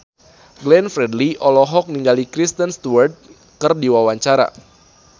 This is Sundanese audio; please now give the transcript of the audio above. Glenn Fredly olohok ningali Kristen Stewart keur diwawancara